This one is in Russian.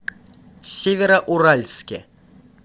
североуральске